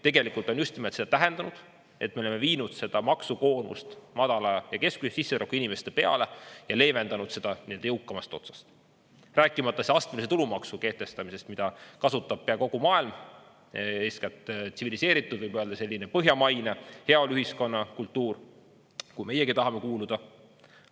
Tegelikult on just nimelt see tähendanud, et me oleme viinud seda maksukoormust madala ja keskmise sissetulekuga inimeste peale ja leevendanud seda nii-öelda jõukamast otsast, rääkimata see astmelise tulumaksu kehtestamisest, mida kasutab pea kogu maailm, eeskätt tsiviliseeritud, võib öelda selline põhjamaine heaoluühiskonna kultuur, kuhu meiegi tahame kuuluda.